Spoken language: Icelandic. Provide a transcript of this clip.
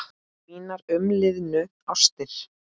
Mínar umliðnu ástir